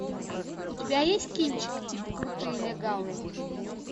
у тебя есть кинчик типа крутые легавые